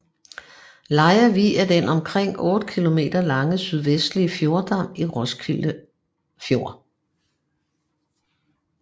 Lejre Vig er den omkring 8 km lange sydvestlige fjordarm i Roskilde Fjord